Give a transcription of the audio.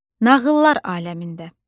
Nağıllar aləmində.